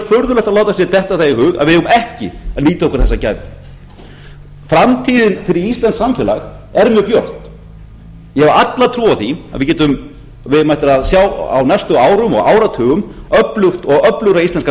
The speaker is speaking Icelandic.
furðulegt að láta sér detta það í hug að við eigum að ekki að nýta okkur þessa gæfu framtíðin fyrir íslenskt samfélag er mjög björt ég hef alla trú á því að við eigum eftir að sjá á næstu árum og áratugum öflugt og öflugra íslenska samfélagið